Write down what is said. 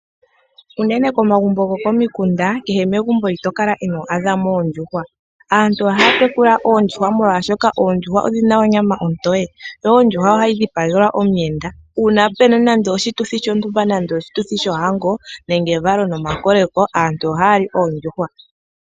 Uunene komagumbo go komikunda kehe megumbo ito kala ino adha mo oondjuhwa. Aantu ohaya tekula oondjuhwa molwashoka oondjuhwa odhina onyama ontoye noho ondjuhwa ohayi dhipagelwa omuyenda una puna nande oshituthi shontumba nande oshituthi shohango nenge evalo nomakoleko aantu ohaya li oondjuhwa.